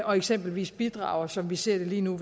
og eksempelvis bidrager som vi ser det lige nu